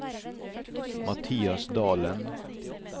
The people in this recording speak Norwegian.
Mathias Dalen